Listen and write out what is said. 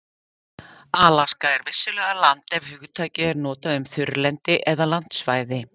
Alaska er vissulega land ef hugtakið er notað um þurrlendi eða landsvæði.